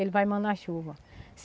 Ele vai mandar a chuva.